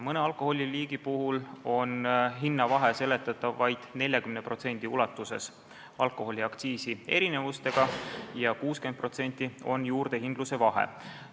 Mõne alkoholiliigi puhul on hinnavahe vaid 40% ulatuses seletatav alkoholiaktsiiside erinevusega ja 60% on juurdehindluse vahe.